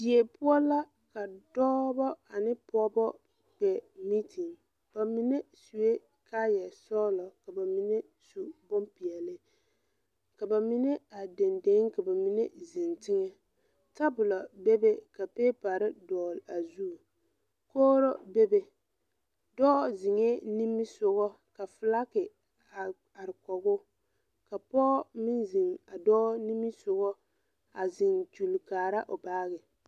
Die poɔ la ka dɔɔbɔ ane pɔɔbɔ kpɛ meeten ba mine suee kayɛsɔglɔ ka mine su bonpeɛɛle ka ba mine are deŋdeŋ ka mine zeŋ teŋa tabulɔ bebe ka peeparre dɔgle a zu kogro bebe dɔɔ zeŋɛɛ nimisugɔ ka flake a are kɔguu ka pɔɔ meŋ zeŋ a dɔɔ nimisugɔ a zeŋ kyule kaara o baagyi.